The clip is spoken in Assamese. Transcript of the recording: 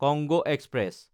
Congo express